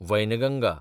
Wainganga